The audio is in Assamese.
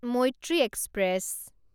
মৈত্ৰী এক্সপ্ৰেছ